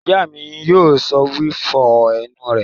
Ìyá mi yóò sọ wípé 'Fọ ẹnu rẹ'